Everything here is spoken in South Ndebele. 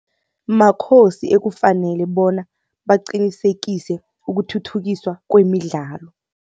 Makhosi ekufanele bona baqinisekise ukuthuthukiswa kwemidlalo.